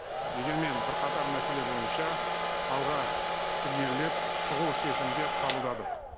дегенмен бірқатар мәселе бойынша алға ілгерілеп шұғыл шешімдер қабылдадық